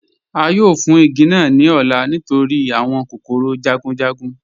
A yóò fún igi naa ní ọ̀lá nítorí awọn kòkòrò jagunjagun